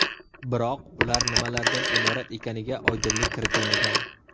Biroq ular nimalardan iborat ekaniga oydinlik kiritilmagan.